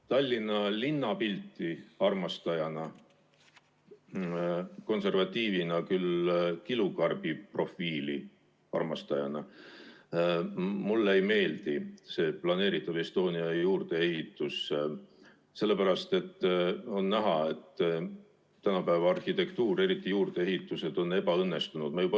Tallinna linnapildi armastajana, konservatiivina küll, kilukarbiprofiili armastajana ütlen, et mulle ei meeldi see planeeritav Estonia juurdeehitus, sest on näha, et tänapäeva arhitektuur, eriti juurdeehitused, on ebaõnnestunud.